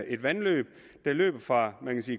et vandløb der løber fra